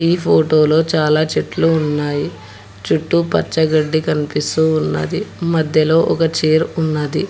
ఈ ఫోటో లో చాలా చెట్లు ఉన్నాయి చుట్టూ పచ్చగడ్డి కనిపిస్తూ ఉన్నది మధ్యలో ఒక చైర్ ఉన్నది.